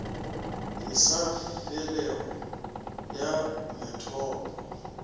e sa felego ya methopo